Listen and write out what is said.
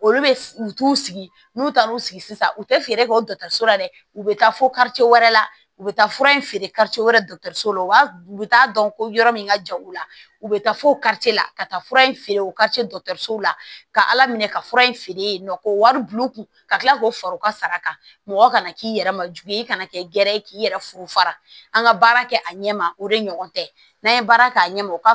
Olu bɛ u t'u sigi n'u taara u sigi sisan u tɛ feere kɛ o dɔgɔtɔrɔso la dɛ u bɛ taa fo wɛrɛ la u bɛ taa fura in feere wɛrɛw la u bɛ taa dɔn ko yɔrɔ min ka jan u la u bɛ taa fo la ka taa fura in feere o la ka ala minɛ ka fura in feere yen nɔ k'o wari bulu kun ka tila k'o fara u ka sara kan mɔgɔ kana k'i yɛrɛ ma jigiya i kana kɛ ye k'i yɛrɛ furu fara an ka baara kɛ a ɲɛ ma o de ɲɔgɔn tɛ n'an ye baara k'a ɲɛma u ka